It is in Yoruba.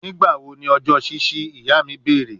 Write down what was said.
Nigbawo ni ọjọ ṣiṣi, iya mi beere